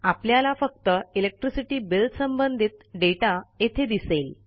आपल्याला फक्त electricity bill संबंधित दाता येथे दिसेल